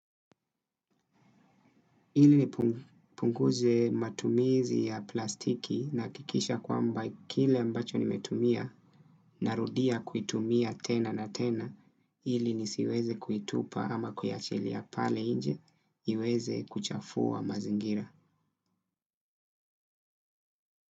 Ili nipunguze matumizi ya plastiki nahakikisha kwamba kile ambacho nimetumia narudia kuitumia tena na tena ili nisiweze kuitupa ama kuiachilia pale nje iweze kuchafua mazingira.